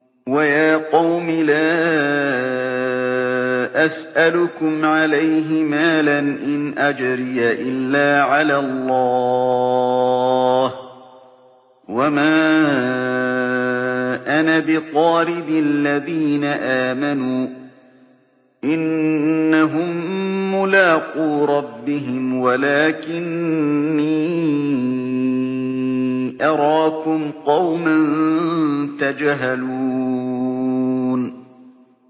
وَيَا قَوْمِ لَا أَسْأَلُكُمْ عَلَيْهِ مَالًا ۖ إِنْ أَجْرِيَ إِلَّا عَلَى اللَّهِ ۚ وَمَا أَنَا بِطَارِدِ الَّذِينَ آمَنُوا ۚ إِنَّهُم مُّلَاقُو رَبِّهِمْ وَلَٰكِنِّي أَرَاكُمْ قَوْمًا تَجْهَلُونَ